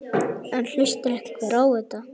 En hlustar einhver á þetta?